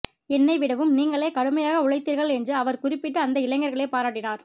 என்னை விடவும் நீங்களே கடுமையாக உழைத்தீர்கள் என்று அவர் குறிப்பிட்டு அந்த இளைஞர்களை பாராட்டினார்